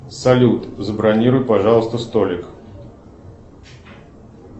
салют забронируй пожалуйста столик